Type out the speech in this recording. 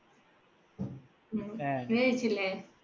നീ കഴിച്ചില്ലേ?